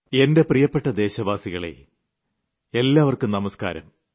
എന്റെ പ്രിയപ്പെട്ട ദേശവാസികളേ നിങ്ങൾക്ക് നമസ്ക്കാരം